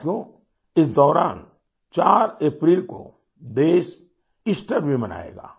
साथियोइस दौरान 4 अप्रैल को देश ईस्टर भी मनाएगा